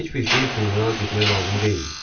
Heç bir şey üçün uzağa getmək lazım deyildi.